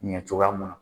Ɲɛ cogoya mun na